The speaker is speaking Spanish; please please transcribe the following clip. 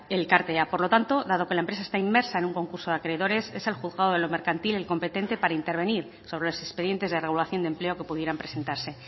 elkartea por lo tanto dado que la empresa está inmersa en un concurso de acreedores es el juzgado de lo mercantil el competente para intervenir sobre los expedientes de regulación de empleo que pudieran presentarse